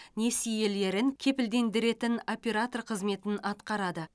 несиелерін кепілдендіретін оператор қызметін атқарады